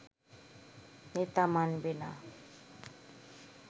নেতা মানবে না